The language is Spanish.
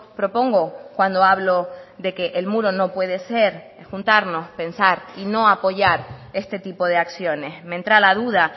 propongo cuando hablo de que el muro no puede ser juntarnos pensar y no apoyar este tipo de acciones me entra la duda